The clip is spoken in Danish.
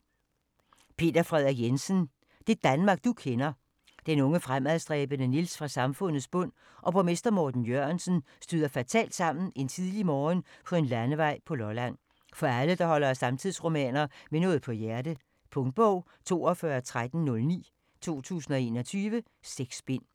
Jensen, Peder Frederik: Det Danmark du kender Den unge fremadstræbende Niels fra samfundets bund og borgmester Morten Jørgensen støder fatalt sammen en tidlig morgen på en landevej på Lolland. For alle der holder af samtidsromaner med noget på hjerte. Punktbog 421309 2021. 6 bind.